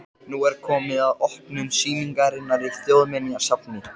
Nú er komið að opnun sýningarinnar í Þjóðminjasafni.